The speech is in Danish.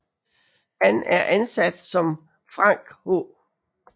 Han er ansat som Frank H